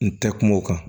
N tɛ kuma o kan